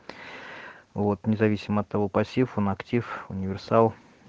вот независимо от того пассив он актив универсал